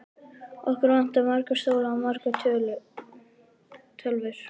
Okkur vantar marga stóla og margar tölvur.